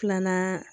Filanan